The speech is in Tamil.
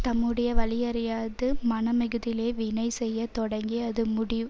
தம்முடைய வலியறியாது மனமிகுதிலே வினை செய்ய தொடங்கி அது முடி